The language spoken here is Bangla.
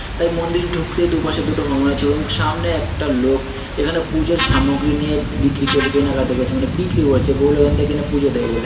তাই মন্দির ঢুকতেই দুপাশে দুটো হনুমানের ছবি এবং সামনে একটা লোক এখানে পুজোর সামগ্রী নিয়ে বিক্রি ক কেনাকাটি করছে মানে বিক্রি করছে বহু লোক এখান থেকে কেনে পুজো দেবে বলে।